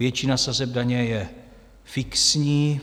Většina sazeb daně je fixní.